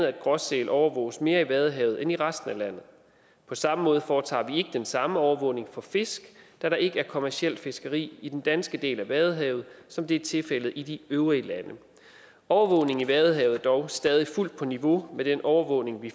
at gråsælerne overvåges mere i vadehavet end i resten af landet på samme måde foretager vi ikke den samme overvågning for fisk da der ikke er kommercielt fiskeri i den danske del af vadehavet som det er tilfældet i de øvrige lande overvågningen i vadehavet er dog stadig fuldt på niveau med den overvågning vi